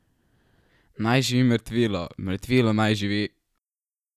Naj živi mrtvilo, mrtvilo naj živi!